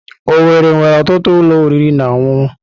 Owerri nwere ọtụtụ ụlọ oriri na ọṅụṅụ.